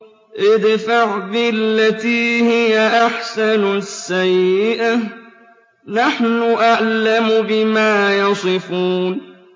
ادْفَعْ بِالَّتِي هِيَ أَحْسَنُ السَّيِّئَةَ ۚ نَحْنُ أَعْلَمُ بِمَا يَصِفُونَ